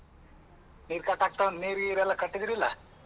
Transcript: ನೀರ್ ಕಟ್ಟಾಗತವ ನೀರ್ ಇರ್ ಎಲ್ಲ ಕಟ್ಟಿದಿರಲ್ಲ?